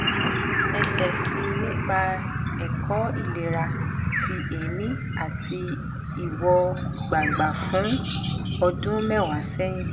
esesi nipa eko ilera ti emi ati iwo gba gba fun odun mewa sehin